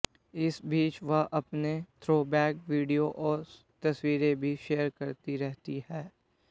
इस बीच वह अपने थ्रोबैक वीडियो और तस्वीरें भी शेयर करती रहती हैं